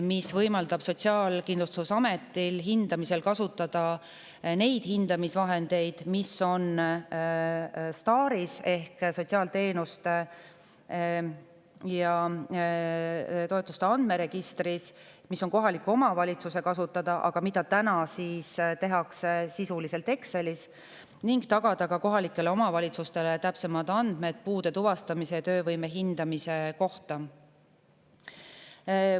See võimaldab Sotsiaalkindlustusametil kasutada hindamisel neid hindamisvahendeid, mis on STAR‑is ehk sotsiaalteenuste ja ‑toetuste andmeregistris – see on kohaliku omavalitsuse kasutada, aga täna tehakse seda sisuliselt Excelis –, ning tagada kohalikele omavalitsustele täpsemad andmed puude tuvastamise ja töövõime hindamise kohta.